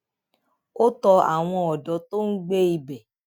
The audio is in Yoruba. ó tọ àwọn ọdọ tó ń gbé ibẹ